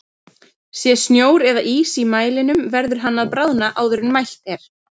Sé snjór eða ís í mælinum verður hann að bráðna áður en mælt er.